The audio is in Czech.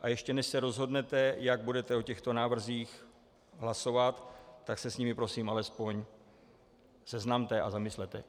A ještě než se rozhodnete, jak budete o těchto návrzích hlasovat, tak se s nimi prosím alespoň seznamte a zamyslete.